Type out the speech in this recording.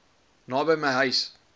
naby my huis